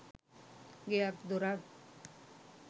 ගෙයක් දොරක්